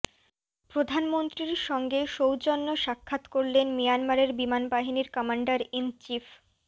প্রধানমন্ত্রীর সঙ্গে সৌজন্য সাক্ষাৎ করলেন মিয়ানমারের বিমানবাহিনীর কমান্ডার ইন চিফ